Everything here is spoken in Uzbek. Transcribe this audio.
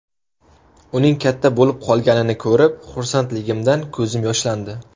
Uning katta bo‘lib qolganini ko‘rib, xursandligimdan ko‘zim yoshlandi.